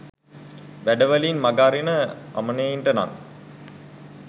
වැඩ වලින් මඟ අරින අමනයින්ට නං